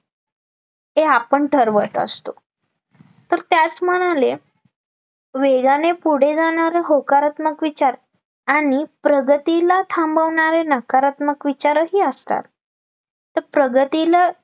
वेगाने पुढे जाणारं विचार आणि प्रगतीला थांबवणारे नकारात्मक विचारही असतात तर प्रगतीला